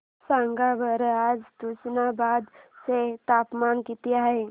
सांगा बरं आज तुष्णाबाद चे तापमान किती आहे